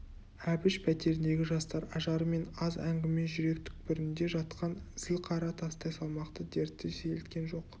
әбіш пәтеріндегі жастар ажары мен аз әңгіме жүрек түкпірінде жатқан зіл қара тастай салмақты дертті сейілткен жоқ